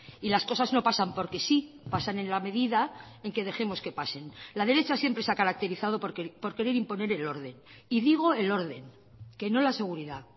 y las cosas no pasan porque sí pasan en la medida en que dejemos que pasen la derecha siempre se ha caracterizado por querer imponer el orden y digo el orden que no la seguridad